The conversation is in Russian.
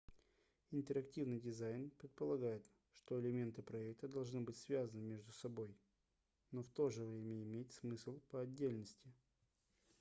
интерактивный дизайн предполагает что элементы проекта должны быть связаны между собой но в то же время иметь смысл по отдельности